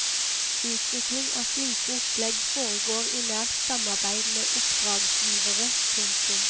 Utvikling av slike opplegg foregår i nært samarbeid med oppdragsgivere. punktum